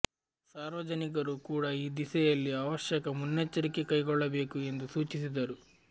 ಸಾರ್ವಜನಿಕರು ಕೂಡ ಈ ದಿಸೆಯಲ್ಲಿ ಅವಶ್ಯಕ ಮುನ್ನೆಚ್ಚರಿಕೆ ಕೈಗೊಳ್ಳಬೇಕು ಎಂದು ಸೂಚಿಸಿದರು